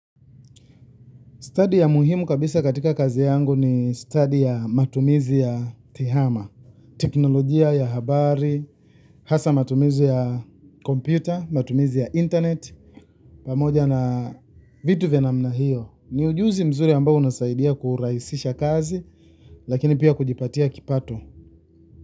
Stadi ya muhimu kabisa katika kazi yangu ni stadi ya matumizi ya TEHAMA, teknolojia ya habari, hasa matumizi ya kompyuta, matumizi ya intaneti, pamoja na vitu vya namna hiyo. Ni ujuzi mzuri ambao unasaidia kurahisisha kazi, lakini pia kujipatia kipato.